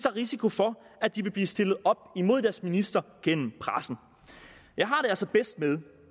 risiko for at de vil blive stillet op imod deres minister gennem pressen jeg har det altså bedst med